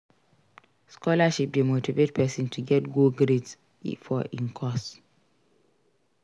Scholarship de motivate persin to get go grades for im course